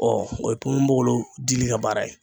Ɔ o ye ponponpogolon dili ka baara ye